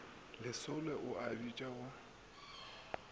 lesolo o a bitša go